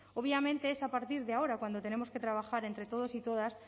obviamente es a partir de ahora cuando tenemos que trabajar entre todos y todas